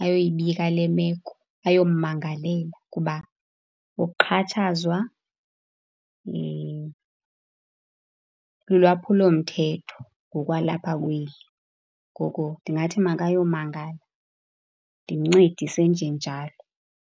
ayoyibika le meko, ayommangalela ngoba ukuxhatshazwa lulwaphulomthetho ngokwalapha kweli. Ngoko ndingathi makayomangala, ndimncedise njenjalo.